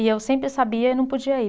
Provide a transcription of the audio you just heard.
E eu sempre sabia e não podia ir.